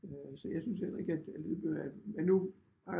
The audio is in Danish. Så jeg synes heller ikke at lydbøger er men nu